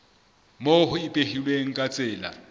moo ho ipehilweng ka tsela